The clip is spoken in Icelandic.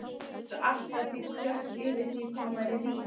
Varð allt að því klökk yfir því hvað hún væri rík.